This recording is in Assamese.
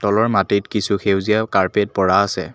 তলৰ মাটিত কিছু সেউজীয়া কাৰ্পেট পৰা আছে।